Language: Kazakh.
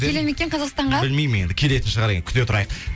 келе ме екен қазақстанға білмеймін енді келетін шығар енді күте тұрайық